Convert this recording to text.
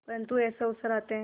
परंतु ऐसे अवसर आते हैं